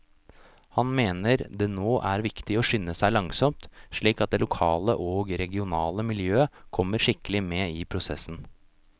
Han mener det nå er viktig å skynde seg langsomt, slik at det lokale og regionale miljøet kommer skikkelig med i prosessen.